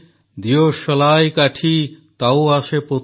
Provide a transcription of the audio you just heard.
ଦିୟଶଲାଇ କାଠି ତାଉ ଆସେ ପୋତେ